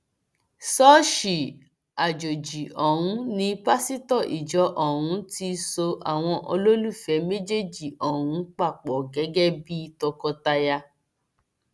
ṣọọṣì àjọjì ọhún ni pásítọ ìjọ ọhún ti so àwọn olólùfẹ méjèèjì ọhún papọ gẹgẹ bíi tọkọtaya